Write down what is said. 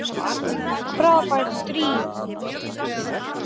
Frábært stríð!